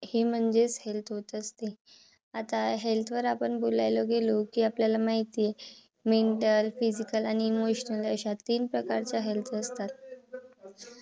हे म्हणजेच health होत असते. आता health वर आपण बोलायला गेलो. कि आपल्याला माहिती mental physical आणि emotional अशा तीन प्रकारच्या health असतात.